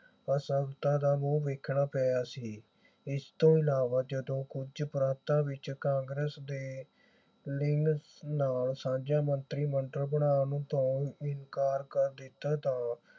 ਅਸਫਲਤਾ ਦਾ ਮੂੰਹ ਦੇਖਣਾ ਪਿਆ ਸੀ। ਇਸ ਤੋਂ ਇਲਾਵਾ ਜਦੋਂ ਕੁਝ ਪ੍ਰਾਂਤਾਂ ਵਿਚ ਕਾਂਗਰਸ ਦੇ ਲੀਂਗ ਨਾਲ ਸਾਂਝਾ ਮੰਤਰੀ ਮੰਡਲ ਬਣਾਉਣ ਤੋਂ ਇਨਕਾਰ ਕਰ ਦਿੱਤਾ ਤਾਂ